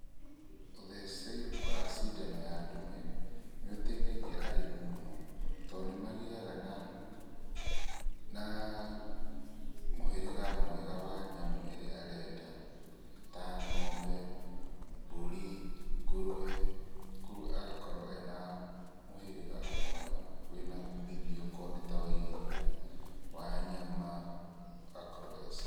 Ũtheci wa cindano ya ndume, nĩũteithagia arĩmi mũno, tondũ nĩmagĩaga na na mũhĩrĩga mwega wa nyamũ ĩria arenda, ta ngombe, mburi, ngũrue, kuoguo agakorwo ena mũhĩrĩga mwega wĩna umithio akorwo nĩ ta wa iria, wa nyama, agakorwo e sawa